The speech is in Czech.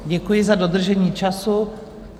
Děkuji za dodržení času.